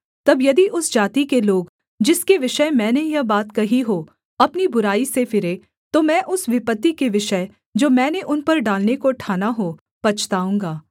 तब यदि उस जाति के लोग जिसके विषय मैंने यह बात कही हो अपनी बुराई से फिरें तो मैं उस विपत्ति के विषय जो मैंने उन पर डालने को ठाना हो पछताऊँगा